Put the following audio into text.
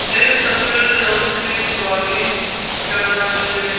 एक सफेद रंग की गाड़ी जा रही हैं।